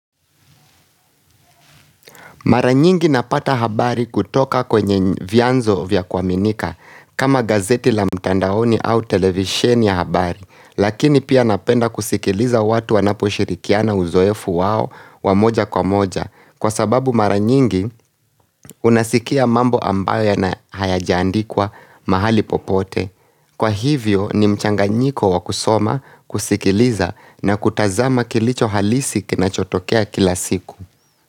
Mara nyingi napata habari kutoka kwenye vyanzo vya kuaminika, kama gazeti la mtandaoni au televisheni ya habari, lakini pia napenda kusikiliza watu wanapo shirikiana uzoefu wao wamoja kwa moja, kwa sababu maranyingi unasikia mambo ambayo ya na hayajaandikwa mahali popote. Kwa hivyo ni mchanganyiko wa kusoma, kusikiliza na kutazama kilicho halisi kinachotokea kila siku.